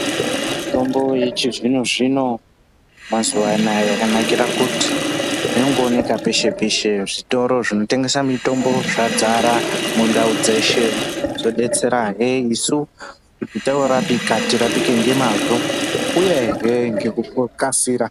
Mitombo yechizvino-zvino, yemazuva anaya yakanakira kuti inongooneka peshe-peshe, zvitoro zvinotengese mitombo zvadzara mundau dzeshe. Zvodetserahe isu kuti kana torapika tirapike ngemazvo, uyehe ngekukasira.